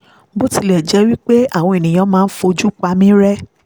bó tilẹ̀ jẹ́ pé àwọn èèyàn máa ń fojú pa mí rẹ́